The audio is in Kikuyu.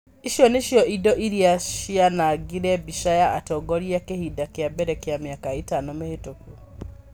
Icio nĩcio indo iria cianaangire mbica ya atongoria kĩhinda kĩa mbere kĩa mĩaka ĩtano mĩhĩtũku.